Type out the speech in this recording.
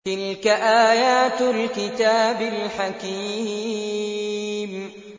تِلْكَ آيَاتُ الْكِتَابِ الْحَكِيمِ